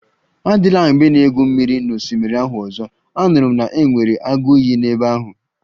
Adịla mgbe ị na-egwu mmiri n'osimiri ahụ ọzọ, anụrụ m na e nwere agụ iyi n'ebe ahụ